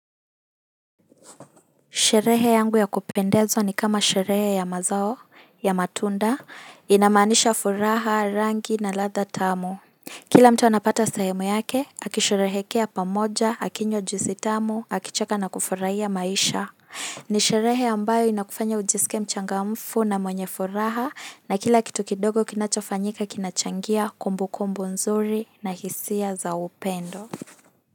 Sherehe yangu ya kupendezwa ni kama sherehe ya mazao, ya matunda, inamaanisha furaha, rangi na ladha tamu. Kila mta anapata sehemu yake, akisherehekea pamoja, akinywa juisi tamu, akicheka na kufurahia maisha. Ni sherehe ambayo inakufanya ujisike mchangamfu na mwenye furaha na kila kitu kidogo kinacha fanyika kinachangia kumbu kumbu nzuri na hisia za upendo.